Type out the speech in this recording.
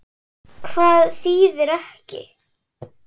Hvað þýðir ekki?